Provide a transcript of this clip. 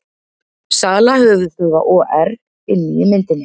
Sala höfuðstöðva OR inni í myndinni